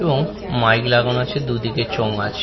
এবং মাইক লাগানো আছে দু-দিকে চোঙ আছে।